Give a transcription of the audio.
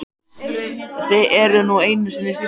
Þið eruð nú einu sinni systur.